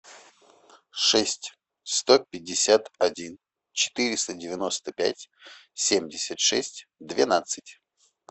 шесть сто пятьдесят один четыреста девяносто пять семьдесят шесть двенадцать